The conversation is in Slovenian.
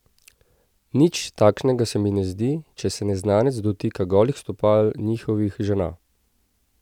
Nič takšnega se jim ne zdi, če se neznanec dotika golih stopal njihovih žena!